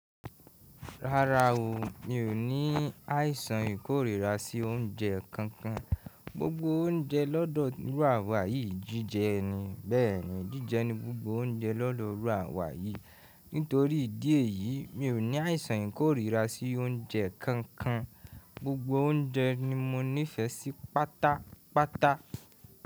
Rárá o, mi ò ní àìsàn ìkórìíra sí oúnjẹ kankan. Gbogbo oúnjẹ lọ́dọ̀ rùàwa yìí jíjẹ ni, bẹ́ẹ̀ni, jíjẹ ni gbogbo oúnjẹ lọ́dọ̀ rùàwa yìí. Nítorí ìdí èyí, mi ò ní àìsàn ìkórìíra sí oúnjẹ kankan. Gbogbo oúnjẹ ni mo nífẹsí Pátápátá.